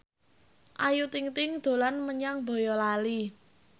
Ayu Ting ting dolan menyang Boyolali